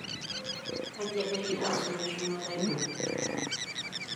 Kaji ebaiki enkisuma eshumata ino?